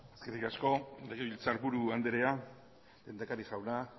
eskerrik asko legebiltzarburu andrea lehendakari jauna